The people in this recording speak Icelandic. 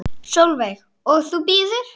Sólveig: Og þú bíður?